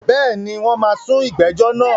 Bẹ́ẹ̀ni, wọ́n máa sún ìgbẹ́jọ́ náà.